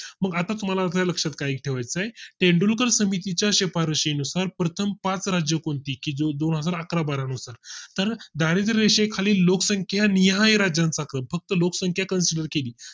मग आता तुम्हाला आपल्या लक्षात काय ठेवाय चा आहे तेंडुलकर समिती च्या शिफारशी नुसार प्रथम पाच राज्य कोणती की जी दोनहजार अकरा बारा नुसार तर दारिद्रय़रेषे खालील लोकसंख्या निहाय राज्यांचा काल फक्त लोकसंख्या consider केली